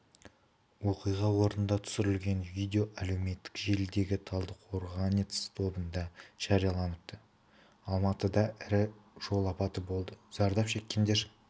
оқиға орнында түсірілген видео әлеуметтік желідегі талдыкорганец тобында жарияланыпты алматыда ірі жол апаты болды зардап шеккендер